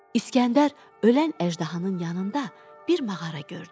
İsgəndər ölən əjdahanın yanında bir mağara gördü.